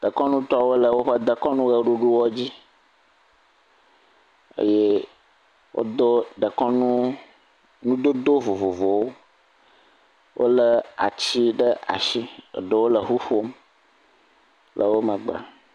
Dekɔnutɔwo le woƒe ʋeɖuɖuwo dzi eye wodo dekɔnu nudodo vovovowo. Wolé atsi ɖe ashi. Eɖewo le ŋu ƒom le wo megbe.